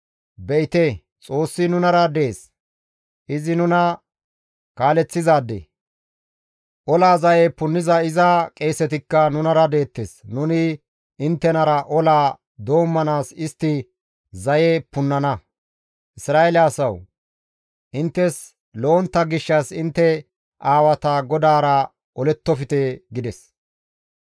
Be7ite, Xoossi nunara dees; izi nuna kaaleththizaade. Ola zaye punniza iza qeesetikka nunara deettes; nuni inttenara olaa doommanaas istti zaye punnana. Isra7eele asawu! Inttes lo7ontta gishshas intte aawata GODAARA olettofte!» gides.